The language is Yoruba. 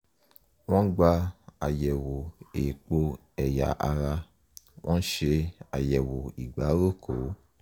wọ́n gba àyẹ̀wò èèpo ẹ̀yà ara wọ́n ṣe àyẹ̀wò ìgbáròkó